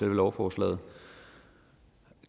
lovforslaget